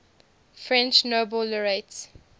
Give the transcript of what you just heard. french nobel laureates